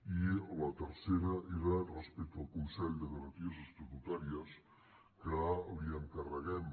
i la tercera era respecte al consell de garanties estatutàries que li encarreguem